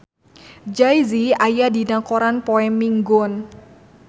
Jay Z aya dina koran poe Minggon